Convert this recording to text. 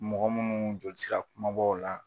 Mɔgɔ munnu joli sira kumabaw la